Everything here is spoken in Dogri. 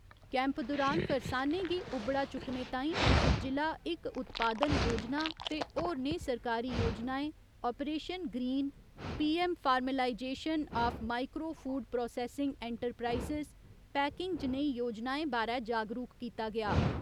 कैम्प दुरान करसानें गी उबड़ा चुकने तांई 'इक जि'ला इक उत्पादन' योजना ते होरनें सरकारी योजनाएं operation green, PM formalisation of micro food processing enterprises, packing जनेही योजनाएं बारै जागरुक कीता गेआ।